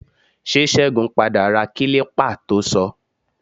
Ṣé Ṣẹ́gun padà ra kílípà to sọ?